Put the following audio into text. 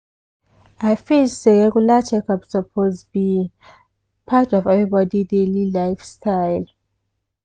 i feel say regular checkup suppose be part of everybody daily lifestyle.